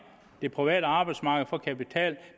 det private arbejdsmarked for kapital